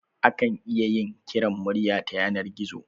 Akan iya yin kiran murya ta yanar gizo